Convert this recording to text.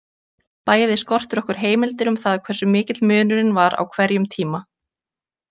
Bæði skortir okkur heimildir um það hversu mikill munurinn var á hverjum tíma.